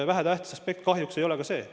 Vähetähtis aspekt kahjuks ei ole ka see.